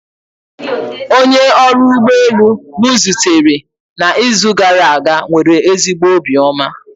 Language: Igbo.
Onye ọrụ ụgbọ elu m zutere n'izu gara aga nwere ezigbo obiọma